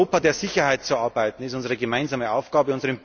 Herren! Am Europa der Sicherheit zu arbeiten, ist unsere gemeinsame